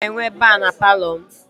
Aga m enwe ba na Palọ m